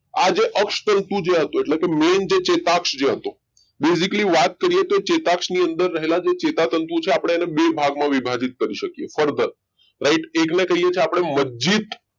આજે અક્ષ તંતુ હતું એટલે કે મેન જે ચેતાક્ષ હતું basically વાત કરીએ તો ચેતક ની અંદર રહેલા ચેતાતંતુ છે આપણે એને બે ભાગમાં વિભાજિત કરીએ કે છીએ મજજીત